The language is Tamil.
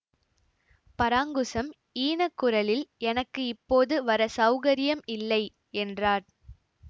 பராங்குசம் ஈனக் குரலில் எனக்கு இப்போது வர சௌகரியம் இல்லை என்றார்